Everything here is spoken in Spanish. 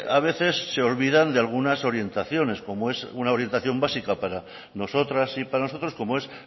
a veces se olvidan de algunas orientaciones una orientación básica para nosotras y para nosotros como es